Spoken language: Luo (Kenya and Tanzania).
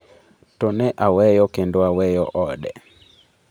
"To ne aweyo kendo aweyo ode."""